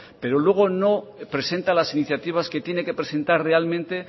pero luego no presenta las iniciativas que tiene que presentar realmente